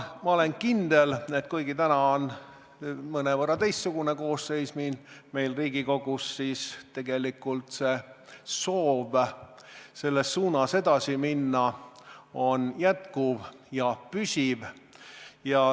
Ma olen kindel, et kuigi täna on mõnevõrra teistsugune koosseis Riigikogus, siis tegelikult soov selles suunas edasi minna on jätkuv ja püsiv.